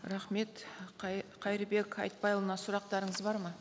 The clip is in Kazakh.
рахмет қайырбек айтбайұлына сұрақтарыңыз бар ма